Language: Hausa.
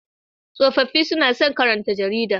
Tsofaffi suna son karanta jarida.